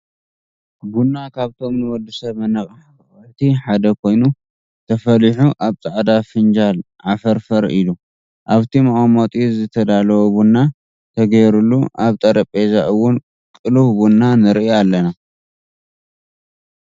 ቡና ካብቶም ንወድሰብ መነቃቃሕቲ ሓደ ኮይኑ ተፈሊሑ ኣብ ፃዕዳ ፍንፃል ዓፍርፈር ኢሉ ኣብ ቲ መቀመጢኡ ዝተቀለወ ቡና ተገይሩሉ ኣብ ጠረቤዛ እዉን ቅሉው ቡና ንሪኢ ኣለና።